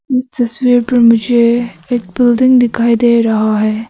इस तस्वीर पर मुझे एक बिल्डिंग दिखाई दे रहा है।